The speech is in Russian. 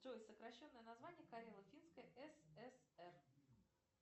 джой сокращенное название карело финской сср